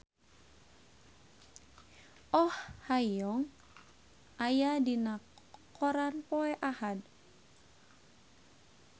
Oh Ha Young aya dina koran poe Ahad